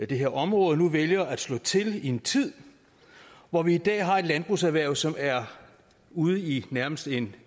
det her område og nu vælger at slå til i en tid hvor vi i dag har et landbrugserhverv som er ude i nærmest en